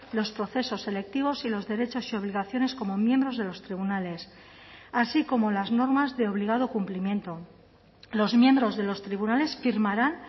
los procesos selectivos y los derechos y obligaciones como miembros de los tribunales así como las normas de obligado cumplimiento los miembros de los tribunales firmarán